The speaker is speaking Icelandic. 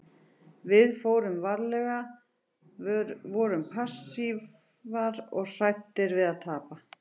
Við fórum varlega, vorum passífir og hræddir við að tapa.